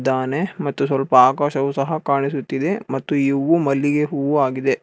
ದಾನೆ ಮತ್ತು ಸ್ವಲ್ಪ ಆಕಾಶವು ಕಾಣಿಸುತ್ತಿದೆ ಮತ್ತು ಇವು ಮಲ್ಲಿಗೆ ಹೂವು ಆಗಿದೆ.